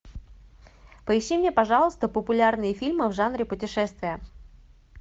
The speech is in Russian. поищи мне пожалуйста популярные фильмы в жанре путешествия